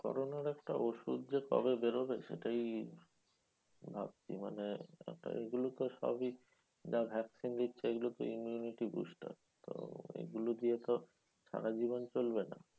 Corona র একটা ওষুধ যে কবে বেরোবে সেটাই ভাবছি? মানে এগুলোতো সবই যা vaccine দিচ্ছে এগুলোতো immunity booster. তো এগুলো দিয়ে তো সারাজীবন চলবে না?